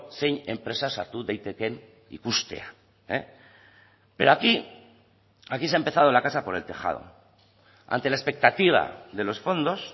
zein enpresa sartu daitekeen ikustea pero aquí aquí se ha empezado la casa por el tejado ante la expectativa de los fondos